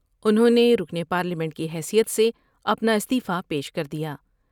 انہوں نے رکن پارلیمنٹ کی حیثیت سے اپنا استعفی پیش کر دیا ۔